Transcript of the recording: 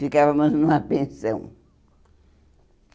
Ficávamos numa pensão.